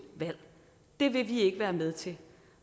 valg det vil vi ikke være med til